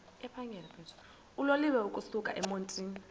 uloliwe ukusuk emontini